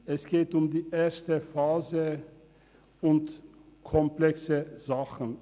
Es geht um die erste Phase und um komplexe Dinge.